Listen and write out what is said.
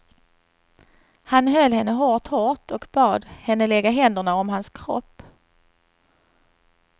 Han höll henne hårt hårt och bad henne lägga händerna om hans kropp.